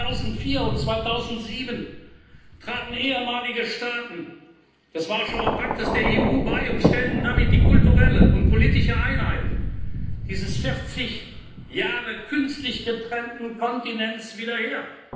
2004 und 2007 traten ehemalige Staaten des Warschauer Paktes der EU bei und stellten damit die kulturelle und politische Einheit dieses 40 Jahre künstlich getrennten Kontinents wieder